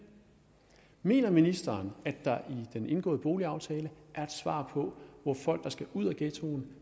mener ministeren at der i den indgåede boligaftale er et svar på hvor folk der skal ud af ghettoen